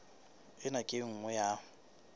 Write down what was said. ena ke e nngwe ya